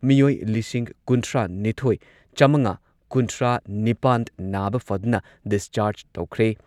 ꯃꯤꯑꯣꯏ ꯂꯤꯁꯤꯡ ꯀꯨꯟꯊ꯭ꯔꯥꯅꯤꯊꯣꯏ ꯆꯥꯃꯉꯥ ꯀꯨꯟꯊ꯭ꯔꯥꯅꯤꯄꯥꯟ ꯅꯥꯕ ꯐꯗꯨꯅ ꯗꯤꯁꯆꯥꯔꯖ ꯇꯧꯈ꯭ꯔꯦ꯫